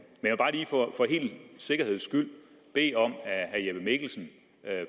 sikkerheds skyld bede om at herre jeppe mikkelsen